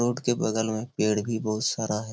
Road के बगल में पेड़ भी बहुत सारा हे ।